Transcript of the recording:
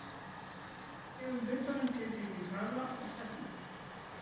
Við gefum hlutnum tiltekinn hraða og stefnu.